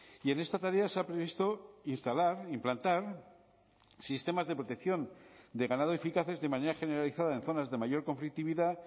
y en esta tarea se ha previsto instalar implantar sistemas de protección de ganado eficaces de manera generalizada en zonas de mayor conflictividad